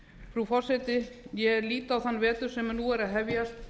frú forseti ég lít á þann vetur sem nú er að hefjast